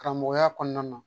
Karamɔgɔya kɔnɔna na